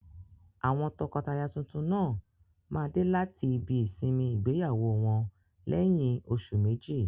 Àwọn tọkọtaya tuntun náà máa dé láti ibi ìsinmi ìgbéyàwó wọn lẹ́yìn oṣù méjì.